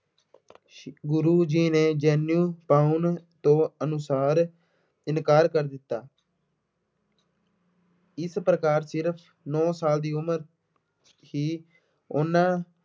ਗੁਰੂ ਜੀ ਨੇ ਜਨੇਊ ਪਾਉਣ ਤੋਂ ਅਨੁਸਾਰ ਇਨਕਾਰ ਕਰ ਦਿੱਤਾ। ਇਸ ਪ੍ਰਕਾਰ ਸਿਰਫ ਨੌ ਸਾਲ ਦੀ ਉਮਰ ਹੀ ਉਹਨਾ